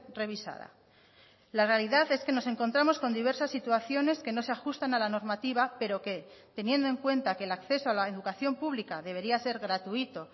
revisada la realidad es que nos encontramos con diversas situaciones que no se ajustan a la normativa pero que teniendo en cuenta que el acceso a la educación pública debería ser gratuito